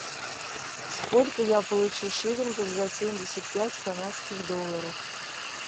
сколько я получу шиллингов за семьдесят пять канадских долларов